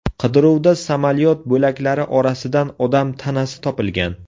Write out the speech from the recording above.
Qidiruvda samolyot bo‘laklari orasidan odam tanasi topilgan.